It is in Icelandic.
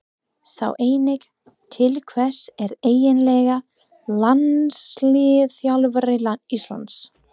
Sjá einnig: Til hvers er eiginlega landsliðsþjálfari Íslands?